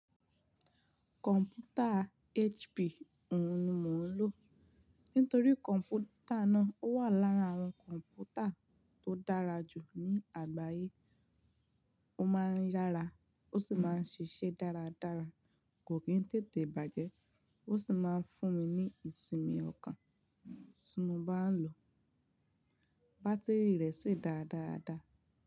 Kọ̀m̀pútà HP òun ni mò ń lò. Nítorí kọ̀m̀pútà náà wà lára àwọn kọ̀m̀pútà tó dára jù ní àgbáyé. Ó máa ń yára ó sì máa ń ṣiṣẹ́ dáradára, kò kí ń tètè bàjẹ́, ó sì máa ń fún mi ní ìsinmi ọkàn tí mo bá ń lò ó. Bátíìrì rẹ̀ sì dáa dáa dáa.